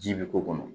Ji bɛ k'o kɔnɔ